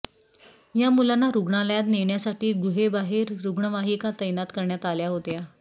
या मुलांना रुग्णालयात नेण्यासाठी गुहेबाहेर रुग्णवाहिका तैनात करण्यात आल्या होत्या